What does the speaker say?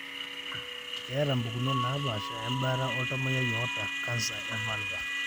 ketae pukunot napashaa embaata oltamoyia oata canser e vulvar.